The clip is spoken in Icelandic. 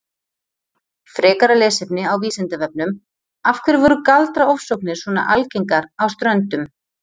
Frekara lesefni á Vísindavefnum Af hverju voru galdraofsóknir svona algengar á Ströndum?